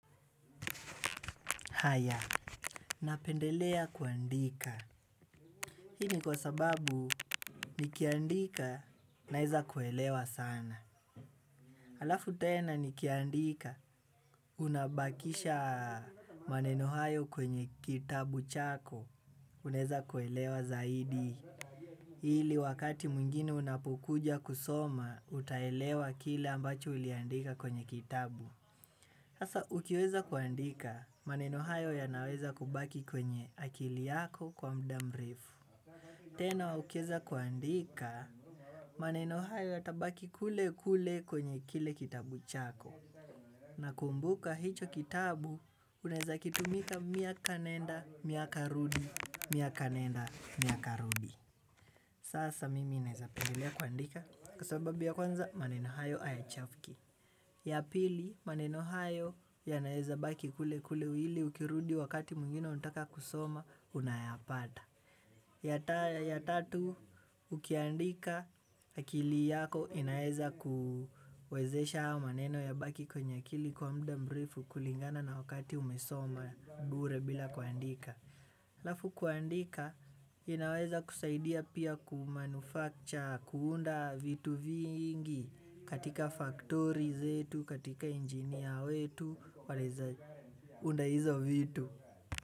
Haya, napendelea kuandika. Hii ni kwa sababu, nikiandika, naeza kuelewa sana. Halafu tena nikiandika, unabakisha maneno hayo kwenye kitabu chako, unaweza kuelewa zaidi. Hili wakati mwingine unapokuja kusoma, utaelewa kile ambacho uliandika kwenye kitabu. Hasa, ukiweza kuandika, maneno hayo yanaweza kubaki kwenye akili yako kwa muda murefu. Teno, ukiweza kuandika, maneno hayo yatabaki kule kule kwenye kile kitabu chako. Na kumbuka hicho kitabu, unaweza kitumia miaka nenda, miaka rudi, miaka nenda, miaka rudi. Sasa, mimi naeza pendelea kuandika. Kwa sababu ya kwanza, maneno hayo hayachafuki. Ya pili maneno hayo yanaeza baki kule kule hili ukirudi wakati mwingine utaka kusoma unayapata. Ya tatu ukiandika akili yako inaeza kuwezesha haya maneno yabaki kwenye akili kwa mda mrefu kulingana na wakati umesoma bure bila kuandika. Halafu kuandika inaweza kusaidia pia kumanufacture kuunda vitu vingi katika faktori zetu katika injinia wetu wanaweza unda hizo vitu.